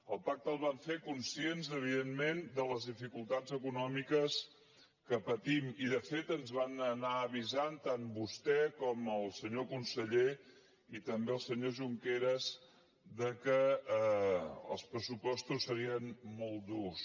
el pacte el van fer conscients evidentment de les dificultats econòmiques que patim i de fet ens van anar avisant tant vostè com el senyor conseller i també el senyor junqueras que els pressupostos serien molt durs